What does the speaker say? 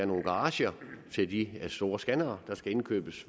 nogle garager til de store scannere der skal indkøbes